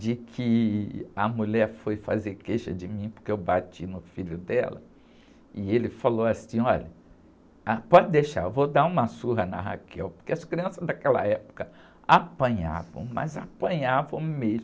de que a mulher foi fazer queixa de mim porque eu bati no filho dela, e ele falou assim, olha, ah, pode deixar, eu vou dar uma surra na, porque as crianças daquela época apanhavam, mas apanhavam mesmo.